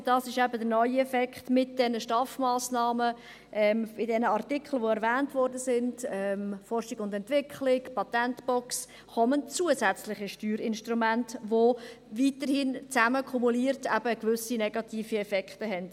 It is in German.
Und, dies ist eben der neue Effekt, mit diesen STAF-Massnahmen kommen bei den Artikeln, die erwähnt wurden, bei Forschung und Entwicklung, Patentbox, zusätzliche Steuerinstrumente hinzu, die weiterhin zusammen kumuliert eben gewisse negative Effekte haben.